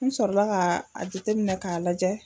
N sɔrɔla ka a jateminɛ k'a lajɛ.